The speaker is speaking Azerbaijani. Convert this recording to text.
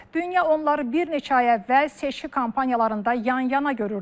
Dünya onları bir neçə ay əvvəl seçki kampaniyalarında yan-yana görürdü.